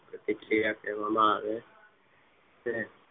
પ્રતિક્રિયા કહેવામાં આવે છે.